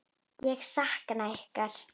Ég sakna ykkar.